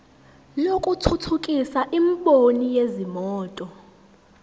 lokuthuthukisa imboni yezimoto